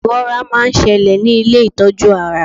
iwọ́ra ma n ṣẹlẹ ní ilé itọju ara